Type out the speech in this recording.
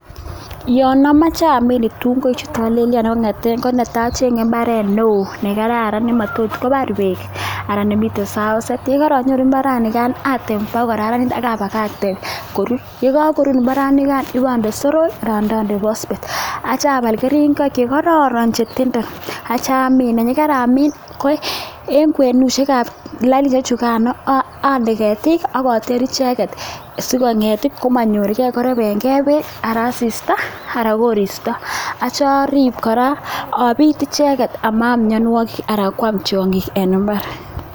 Yon amoche amin kitunguik chu tolelyon ko netai acheng'e mbaret neo nakararan nematot kobar beek ana nemiten saoset ,yekoronyoru mbaranikan atem ba koraranit akabakakte korur yekokorur mbaranikan abonde soroik anan ko pospet, aitya abal keringoik chekororon chetentenden akamin yekaramin ,en kwenusiek ab lainisiek chukan ande ketik akoter icheket sikong'et komonyorgei korebengei beek ak asista anan koristo aitya orib icheket obit amanam myonwogik anan kwam tyongik en mbaar.